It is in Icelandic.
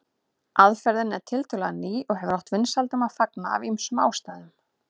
Aðferðin er tiltölulega ný og hefur átt vinsældum að fagna af ýmsum ástæðum.